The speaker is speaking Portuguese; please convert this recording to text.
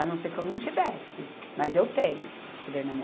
A não ser que eu não tivesse, mas eu tenho esse poder na mão.